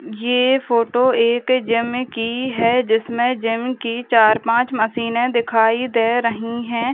ये फोटो एक जिम की है जिसमे जिम की चार पांच मशीने दिखाई दे रही है।